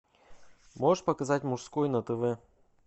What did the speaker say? можешь показать мужской на тв